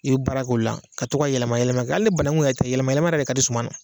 I bi baara k'o la ka toka yɛlɛma yɛlɛma kɛ hali ni banagun yɛrɛ tɛ yɛlɛma yɛlɛma yɛrɛ de ka di suman ye.